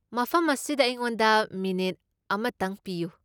ꯃꯐꯝ ꯑꯁꯤꯗ ꯑꯩꯉꯣꯟꯗ ꯃꯤꯅꯤꯠ ꯑꯃꯇꯪ ꯄꯤꯌꯨ ꯫